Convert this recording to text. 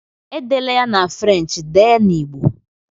Edela ya na French, dee na Igbo!